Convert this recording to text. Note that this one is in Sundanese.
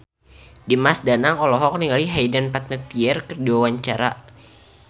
Dimas Danang olohok ningali Hayden Panettiere keur diwawancara